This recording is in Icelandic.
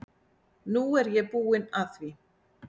Nú er ég búin að því.